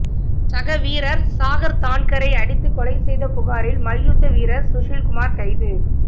சக வீரர் சாகர் தான்கரை அடித்துக் கொலை செய்த புகாரில் மல்யுத்த வீரர் சுஷில் குமார் கைது